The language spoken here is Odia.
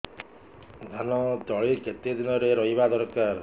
ଧାନ ତଳି କେତେ ଦିନରେ ରୋଈବା ଦରକାର